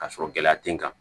Ka sɔrɔ gɛlɛya te n kan